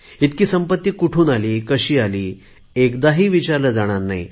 इतकी संपत्ती कुठुन आली कशी आली एकदाही विचारले जाणार नाही